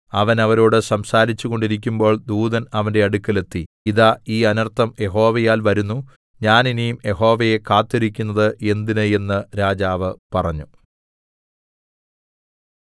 അവൻ അവരോട് സംസാരിച്ചു കൊണ്ടിരിക്കുമ്പോൾ ദൂതൻ അവന്റെ അടുക്കൽ എത്തി ഇതാ ഈ അനർത്ഥം യഹോവയാൽ വരുന്നു ഞാൻ ഇനി യഹോവയെ കാത്തിരിക്കുന്നത് എന്തിന് എന്ന് രാജാവ് പറഞ്ഞു